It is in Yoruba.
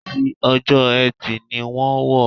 Ti Ọjọ́ Ẹtì ni wọ́n wọ̀.